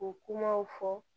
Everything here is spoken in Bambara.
O kumaw fɔ